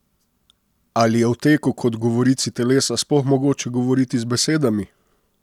Ali je o teku kot govorici telesa sploh mogoče govoriti z besedami?